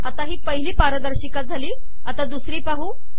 आता ही पहिली पारदर्शिका झाली दुसरी पाहू